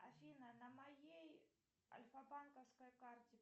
афина на моей альфа банковской карте